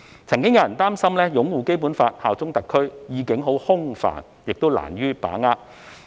曾經有人擔心"擁護《基本法》、效忠特區"的意境空泛，難於把握。